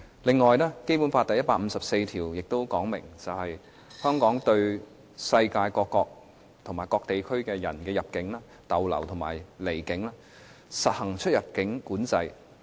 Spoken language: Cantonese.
此外，《基本法》第一百五十四條亦訂明，香港對世界各國或各地區的人入境、逗留和離境，可實行出入境管制。